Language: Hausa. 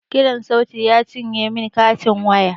Kiran sauti ya cinye min katin waya